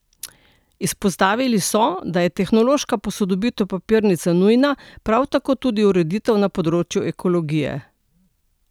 Izpostavili so, da je tehnološka posodobitev papirnice nujna, prav tako tudi ureditev na področju ekologije.